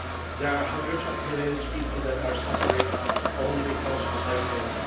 There are hundreds of millions of people suffering only because of their faith.